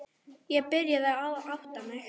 Ég byrjaði að átta mig.